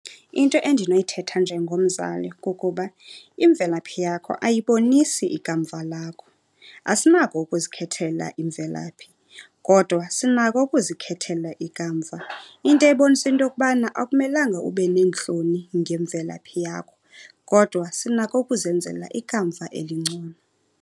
Into endinoyithetha njengomzali kukuba imvelaphi yakho ayibonisi ikamva lakho. Asinako ukuzikhethela imvelaphi kodwa sinako ukuzikhethela ikamva. Into ebonisa into yokubana akumelanga ube neentloni ngemvelaphi yakho, kodwa sinako ukuzenzela ikamva elingcono.